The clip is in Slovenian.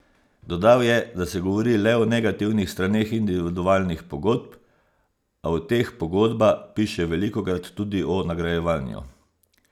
Dodal je, da se govori le o negativnih straneh individualnih pogodb, a v teh pogodba piše velikokrat tudi o nagrajevanju.